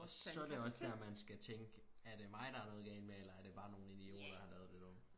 og så er det også der man skal tænke er det mig der er noget galt med eller er det bare nogle idioter der har været lidt dumme